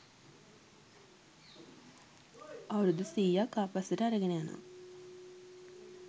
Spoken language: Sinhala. අවුරුදු සීයක් ආපස්සට අරගෙන යනවා.